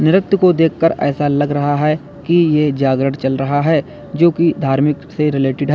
नृत्य को देखकर ऐसा लग रहा हैं कि ये जागरण चल रहा है जो की धार्मिक से रिलेटेड है।